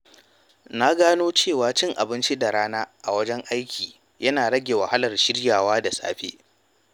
Na gano cewa cin abinci da rana a wajen aiki yana rage wahalar shiryawa da safe.